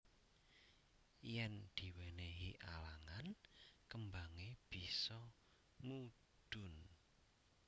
Yen diwenehi alangan kembange bisa mudhun